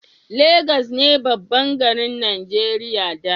Legas ne babban garin Najeriya da